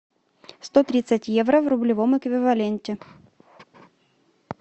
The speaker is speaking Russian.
сто тридцать евро в рублевом эквиваленте